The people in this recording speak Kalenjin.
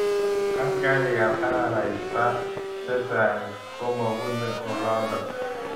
Askarik ab araraita chchang komapuni olondo.